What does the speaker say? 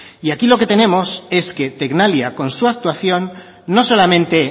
y aquí lo que tenemos es que tecnalia con su actuación no solamente